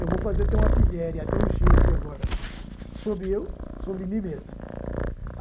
Eu vou fazer até uma pilhere, até um xiste agora, sobre eu, sobre mim mesmo.